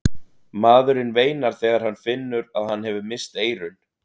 Maðurinn veinar þegar hann finnur að hann hefur misst eyrun.